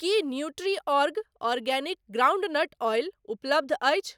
की Nutriorg organic groundnut oil उपलब्ध अछि?